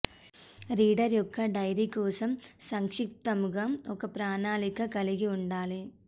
reader యొక్క diary కోసం సంక్షిప్తముగా ఒక ప్రణాళిక కలిగి ఉండాలి